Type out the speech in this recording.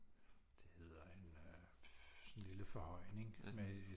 Det hedder en øh sådan en lille forhøjning med